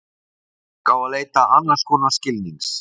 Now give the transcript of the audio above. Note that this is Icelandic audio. Fólk á að leita annars konar skilnings.